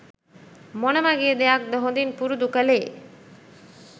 මොනවගේ දෙයක්ද හොඳින් පුරුදු කළේ?